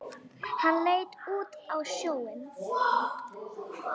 Hann leit út á sjóinn.